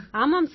ஆமாம் சார்